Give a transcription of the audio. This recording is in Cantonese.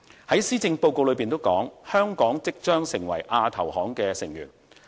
如施政報告所說，香港即將成為亞投行的成員。